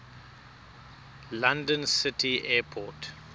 london city airport